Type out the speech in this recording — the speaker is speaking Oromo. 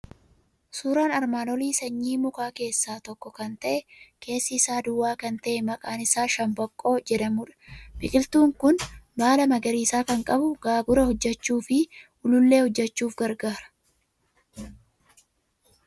Suuraan armaan olii sanyii mukaa keessaa tokko kan ta'e, keessi isaa duwwaa kan ta'e, maqaan isaa shambaqqoo jedhamudha. Biqiltuun kun baala magariisa kan qabu, gaagura hojjechuu fi uluullee hojjechuuf gargaara.